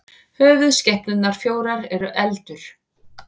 höfuðskepnurnar fjórar eru eldur